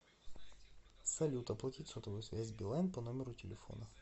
салют оплатить сотовую связь билайн по номеру телефона